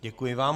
Děkuji vám.